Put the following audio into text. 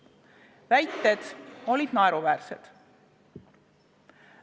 Vastuväited olid naeruväärsed.